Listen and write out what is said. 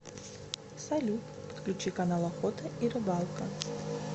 салют подключи канал охота и рыбалка